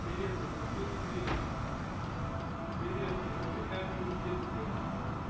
привет заблокируй двери привет покажи камеру в детской